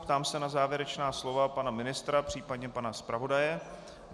Ptám se na závěrečná slova pana ministra, případně pana zpravodaje.